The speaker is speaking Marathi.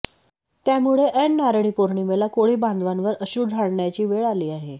त्यामुळे ऐन नारळी पौर्णिमेला कोळी बांधवांवर अश्रू ढाळण्याची वेळ आली आहे